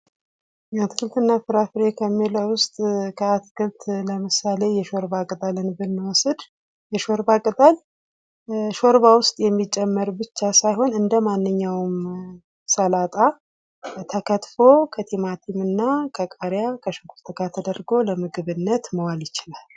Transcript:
አትክልትና ፍራፍሬ ከምንለው ዉስጥ አትክልት ለምሳሌ የሾርባ ቅጠልን ብንወስድ የሾርባ ቅጠል ሾርባ ዉስጥ የሚጨመር ብቻ ሳይሆን እንደማንኛዉም ሰላጣ ተከትፎ ቲማቲምና ቃሪያ ከሽንኩርት ጋር ተደርጎ ለምግብነት መዋል ይችላል።